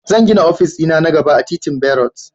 Zan gina ofis dina na gaba a titin berut